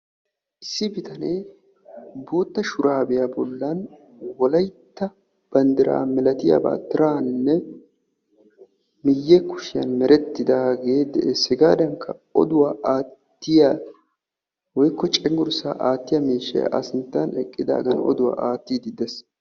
Issi bitanee bootta shuraabiya bollon wolayitta banddiraa milatiyabaa tiraaninne miyye kushiyan merettidaage de'ees. Hegaadankka oduwa aattiya woyikko cenggurssaa aattiyaa miishshay A sinttan eqqidagan oduwa aattidi de'ees.